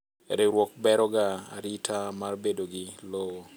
Riwruok beroga arita mar bedogi lowo.